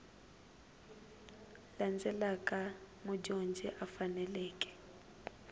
landzelaka leti mudyondzi a faneleke